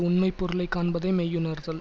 உண்மை பொருளை காண்பதே மெய்யுணர்தல்